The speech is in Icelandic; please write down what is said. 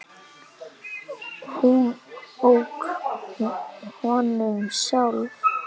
Hún ók honum sjálf.